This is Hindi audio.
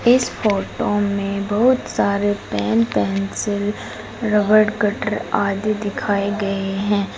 इस फोटो में बहुत सारे पेन पेंसिल रबर कटर आदि दिखाए गए हैं।